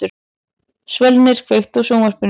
Svölnir, kveiktu á sjónvarpinu.